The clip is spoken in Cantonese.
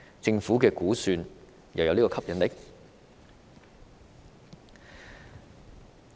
政府如何估算這個吸引力？